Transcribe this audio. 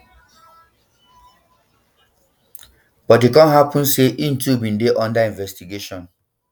but e kon happun say im too bin dey under investigation